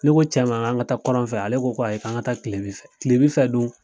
Ne ko cɛ ma k'an ka taa kɔrɔn fɛ ale ko ko ayi k'an ka taa kilebin fɛ kilebin fɛ dun